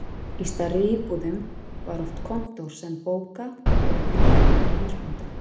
Í stærri íbúðum var oft kontór sem bóka- eða vinnuherbergi húsbóndans.